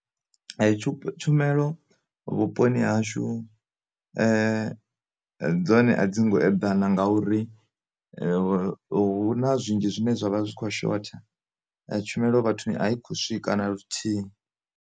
Tshumelo vhu poni hashu dzone a dzi ngo eḓana nga uri, huna zwinzhi zwine zwavha zwi kho shotha. Tshumelo vhathuni a i khou swika na luthihi.